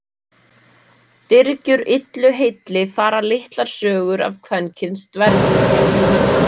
Dyrgjur Illu heilli fara litlar sögur af kvenkyns dvergum.